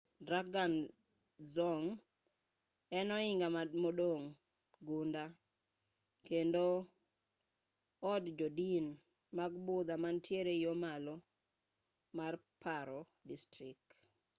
drukgyal dzong en ohinga modong' gunda kendo od jodin mag budha mantiere yo malo mar paro district ei phondey village